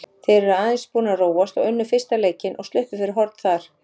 Þeir eru aðeins búnir að róast og unnu fyrsta leikinn og sluppu fyrir horn þar.